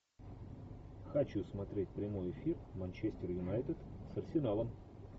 хочу смотреть прямой эфир манчестер юнайтед с арсеналом